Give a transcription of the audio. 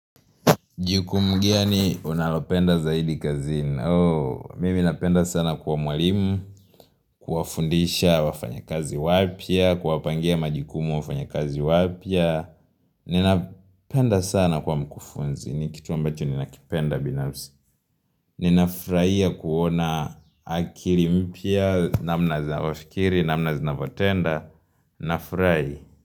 Jiku mgani unalopenda zaidi kazini. Mimi napenda sana kuwa mwalimu, kuwafundisha wafanya kazi wapya, kuwapangia majukumu wafanya kazi wapya. Ninapenda sana kuwa mkufunzi. Ni kitu ambacho ninakipenda binafsi. Ninafurahia kuona akili mpya, namna zinavyofikiri, namna zinavyotenda. Nafurahi.